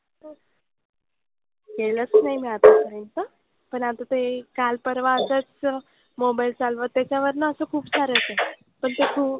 केलंच नाही मी आतापर्यंत. पण आता ते काल परवा असंच mobile चालवत त्याच्यावर ना असं खुपसारं येतं. पण ते खूप,